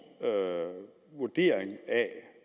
vurdering af